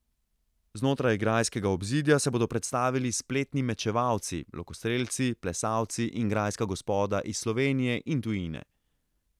Znotraj grajskega obzidja se bodo predstavili spretni mečevalci, lokostrelci, plesalci in grajska gospoda iz Slovenije in tujine.